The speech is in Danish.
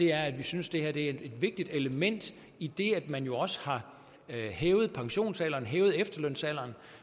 er at vi synes det her er et vigtigt element idet at man jo også har hævet pensionsalderen hævet efterlønsalderen